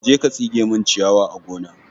Je ka tsige min ciyawa a gona!